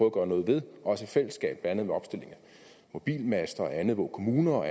at gøre noget ved også i fællesskab blandt andet ved opstilling af mobilmaster og andet hvor kommuner og